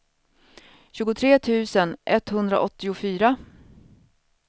tjugotre tusen etthundraåttiofyra